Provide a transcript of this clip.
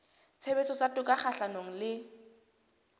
tshebetso tsa toka kgahlanong le